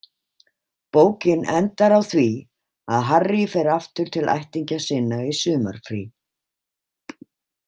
Bókin endar á því að Harry fer aftur til ættingja sinna í sumarfrí.